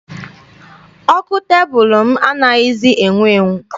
Ọkụ tebụlụ m anaghịzi enwu enwu.